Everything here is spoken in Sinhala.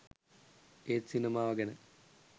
ඒත් සිනමාව ගැන